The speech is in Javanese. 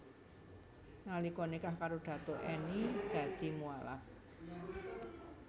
Nalika nikah karo Datuk Enny dadi mualaf